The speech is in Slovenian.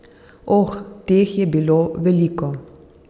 Oh, teh je bilo veliko.